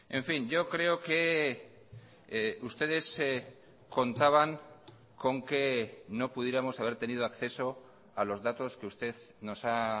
en fin yo creo que ustedes contaban con que no pudiéramos haber tenido acceso a los datos que usted nos ha